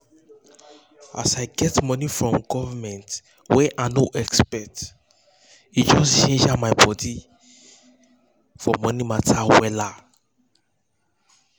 as i get money from government wey i no expect e just ginger my body for money matter wella